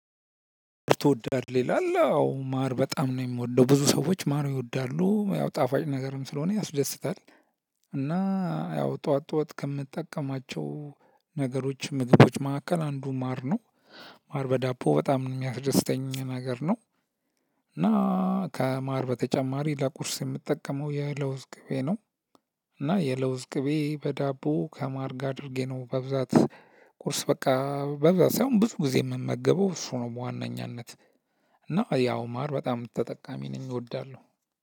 ትወዳለህ ይላል አዎ ማር በጣም ነው የምወደው። ብዙ ሰዎች ማር ይወዳሉ። ያው ጣፋጭ ነገርም ስለሆነ ያስደስታል። እና ያው ጠዋት ጠዋት ከምትጠቀማቸው ነገሮች ምግቦች መካከል አንዱ ማር ነው። ማር በዳቦ በጣም የሚያስደስተኝ ነገር ነው። እና ከማር በተጨማሪ ለቁርስ የምትጠቀመው የለውዝ ቅቤ ነው እና የለውዝ ቅቤ በዳቦ ከማር አድርጌ ነው በብዛት ቁርስ በቃ በብዛት ሳይሆን ብዙ ጊዜ የምመገበው እሱ ነው በዋነኛነት እና ያው ማር በጣም ተጠቃሚ ነኝ እወዳለሁ።